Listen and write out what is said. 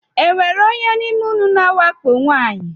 E nwere onye n’ime ụnụ na-awakpo nwaanyi?